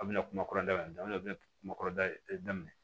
A bɛna kuma da in daminɛ daminɛ a bɛ na kuma da daminɛ